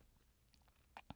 DR1